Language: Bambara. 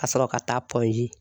Ka sɔrɔ ka taa